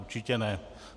Určitě ne.